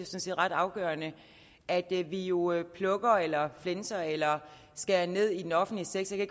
set ret afgørende at vi vi jo jo plukker eller flænser eller skærer ned i den offentlige sektor jeg